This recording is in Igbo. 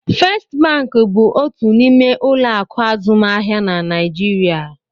First bank bụ otu n'ime ụlọ akụ azụmaahịa na Naịjirịa.